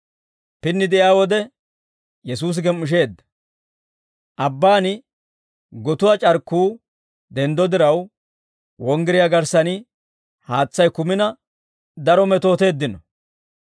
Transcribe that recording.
Pinni de'iyaa wode, Yesuusi gem"isheedda. Abbaan gotuwaa c'arkkuu denddo diraw, wonggiriyaa garssan haatsay kumina daro metooteeddino.